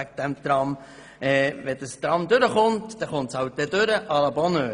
Wenn das Tram durchkommt, so kommt es halt durch – à la bonheur.